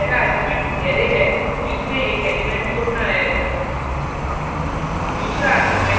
push function में पहला argument array है जिसमें एक एलिमेंट जोडना है